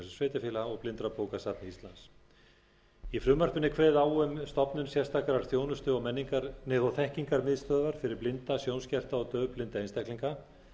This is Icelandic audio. sveitarfélaga og blindrabókasafni íslands í frumvarpinu er kveðið á um stofnun sérstakrar þjónustu og þekkingarmiðstöðvar fyrir blinda sjónskerta og daufblinda einstaklinga